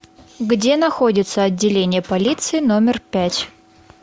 где находится отделение полиции номер пять